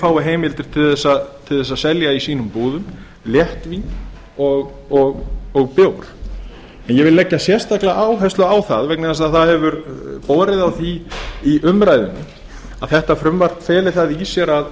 fái heimildir til að selja í sínu búðum léttvín og bjór en ég vil leggja sérstaklega áherslu á það vegna þess að það hefur borið á því í umræðunni að þetta frumvarpi feli það í sér að